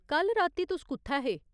कल राती तुस कु'त्थै हे ?